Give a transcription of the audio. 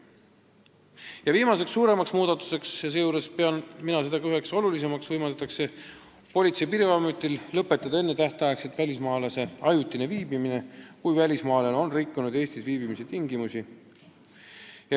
Ja viimane suurem muudatus, mida ma pean üheks olulisimaks: Politsei- ja Piirivalveametil võimaldatakse välismaalase ajutine Eestis viibimine enne tähtaega lõpetada, kui välismaalane on rikkunud Eestis viibimise tingimusi.